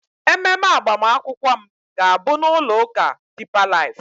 ememe agbamakwụkwọ m ga-abụ na ụlọ ụka deeper life